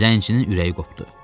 Zənçinin ürəyi qopdu.